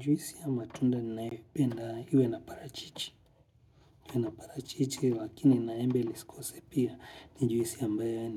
Juisi ya matunda ninayoipenda iwe na parachichi. Na parachichi, lakini na embe lisikose pia. Ni juisi ambaye